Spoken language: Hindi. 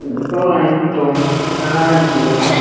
इ ठो एक ठो बड़ा जैसा--